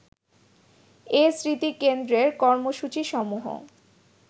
এ স্মৃতিকেন্দ্রের কর্মসূচিসমূহ